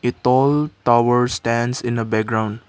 tall tower stands in a background.